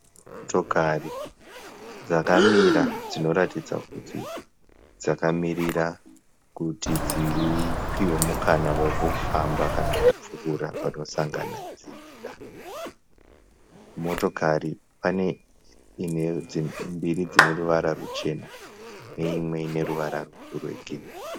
Motokari dzakamira dzinotaridza kuti dzakamirira kuti dzipihwe mukana wekufamba kana kupfuura panosangana nzira. Motokari, pane mbiri dzineruvara ruchena, imwe ruvara rwegirinhi.